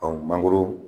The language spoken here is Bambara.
mangoro